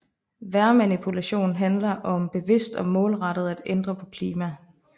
Vejrmanipulation handler om bevidst og målrettet at ændre på klima